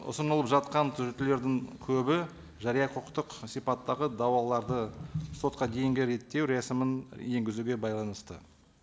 ұсынылып жатқан түзетулердің көбі жария құқықтық сипаттағы дауларды сотқа дейінгі реттеу рәсімін енгізуге байланысты